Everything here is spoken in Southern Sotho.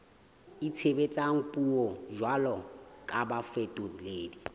itshebetsang puong jwalo ka bafetoledi